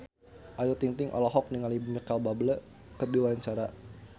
Ayu Ting-ting olohok ningali Micheal Bubble keur diwawancara